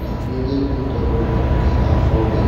na ndị ntorobịa nke afọ gị.